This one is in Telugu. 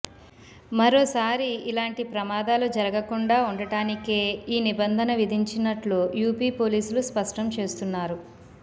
మరోసారి ఇలాంటి ప్రమాదాలు జరగకుండా ఉండటానికే ఈ నిబంధన విధించినట్లు యూపీ పోలీసులు స్పష్టం చేస్తున్నారు